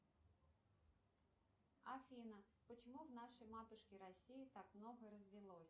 афина почему в нашей матушке россии так много развелось